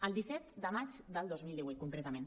el disset de maig del dos mil divuit concretament